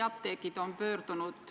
Aitäh!